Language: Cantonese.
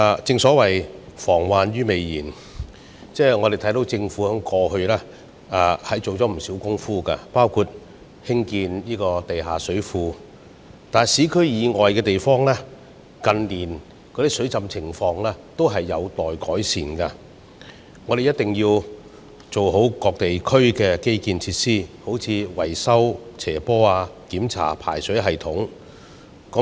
正所謂防患於未然，我們看到政府過去下了不少工夫，包括興建地下水庫，但在市區以外的地方，近年的水浸情況仍有待改善，我們必須完善各地區的基建設施，例如維修斜坡，檢查排水系統等。